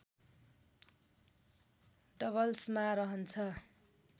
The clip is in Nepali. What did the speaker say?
डबल्समा रहन्छ